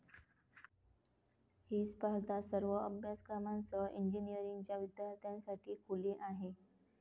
ही स्पर्धा सर्व अभ्यासक्रमांसह इंजिनिअरींगच्या विद्यार्थ्यांसाठी खुली आहे.